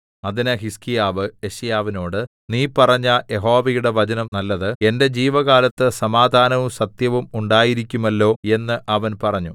അതിന് ഹിസ്കീയാവ് യെശയ്യാവിനോട് നീ പറഞ്ഞ യഹോവയുടെ വചനം നല്ലത് എന്റെ ജീവകാലത്ത് സമാധാനവും സത്യവും ഉണ്ടായിരിക്കുമല്ലോ എന്ന് അവൻ പറഞ്ഞു